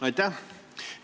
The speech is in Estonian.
Aitäh!